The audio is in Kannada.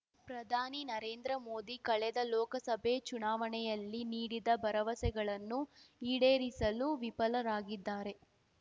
ಪ್ರಧಾನಿ ನರೇಂದ್ರ ಮೋದಿ ಕಳೆದ ಲೋಕಸಭೆ ಚುನಾವಣೆಯಲ್ಲಿ ನೀಡಿದ ಭರವಸೆಗಳನ್ನು ಈಡೇರಿಸಲು ವಿಫಲರಾಗಿದ್ದಾರೆ